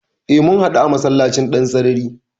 E, mun haɗu a masallacin Dansarari.